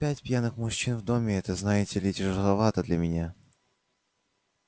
пять пьяных мужчин в доме это знаете ли тяжеловато для меня